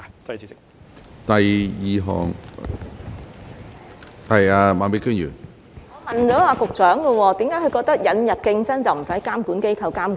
我是問局長，為何他認為引入競爭便無須由監管機構作出監管？